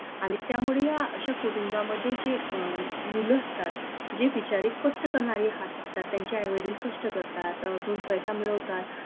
आनि त्यामुळे या अश्या कुटुंबामध्ये जे मुलं असतात जे बिचारे कष्ट करनारे हाथ असतात त्यांचे आई वडील कष्ट करतात दोन पैसा मिळवतात